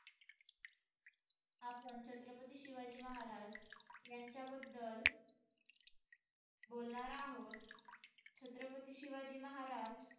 आपण छत्रपती शिवाजी महाराज यांच्याबद्दल बोलणार आहोत. छत्रपती शिवाजी महाराज,